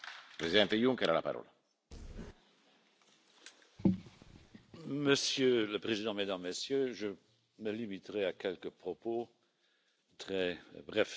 Monsieur le Président, Mesdames, Messieurs, je me limiterai à quelques propos très brefs en réponse à des questions concrètes qui m'ont été posées.